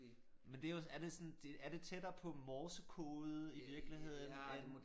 Men det jo er det sådan det er det tættere på morsekode i virkeligheden øh